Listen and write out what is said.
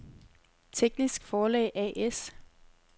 Teknisk Forlag A/S